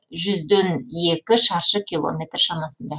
жүзден екі шаршы километр шамасында